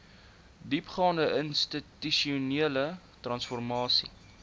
diepgaande institusionele transformasie